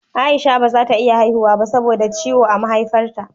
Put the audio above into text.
Aisha bazata iya haihuwa ba sabo da ciwon a Maihaifar ta